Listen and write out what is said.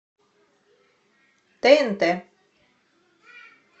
тнт